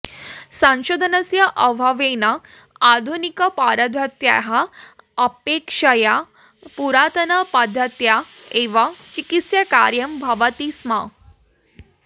संशोधनस्य अभावेन आधुनिकपरद्धत्याः अपेक्षया पुरातनपद्धत्या एव चिकित्साकार्यं भवति स्म